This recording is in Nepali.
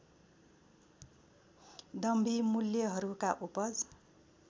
दम्भी मूल्यहरूका उपज